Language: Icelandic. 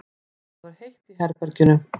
Það var heitt í herberginu.